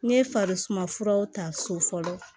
N ye farisuma furaw ta so fɔlɔ